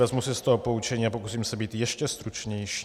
Vezmu si z toho poučení a pokusím se být ještě stručnější.